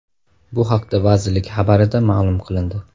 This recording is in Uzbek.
Bu haqda vazirlik xabarida ma’lum qilindi .